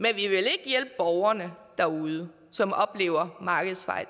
hjælpe borgerne derude som oplever markedsfejl